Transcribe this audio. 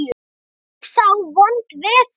Verður þá vont veður?